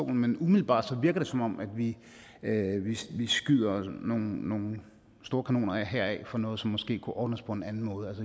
men umiddelbart virker det som om vi vi skyder nogle nogle store kanoner af her for noget som måske kunne ordnes på en anden måde